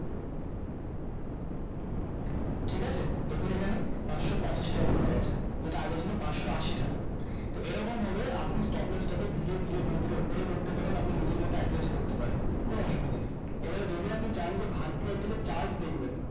ঠিকাছে দেখুন এখানে পাঁচশ পঁচাশি টাকা হয়ে গেছে যেটা আগে ছিল পাঁচশ আশি টাকা তো এরকম ভাবে আপনি stop loss টা কে ধীরে ধীরে ধীরে ধীরে উপরেও করতে পারেন আপনি নিজের মতো adjust করতে পারেন কোনো অসুবিধা নেই এবারে যদি আপনি চান যে bharti airtel এর chart দেখবেন